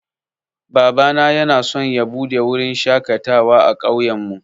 Babana yanaso ya buɗe wurin shaƙatawa a ƙauyen mu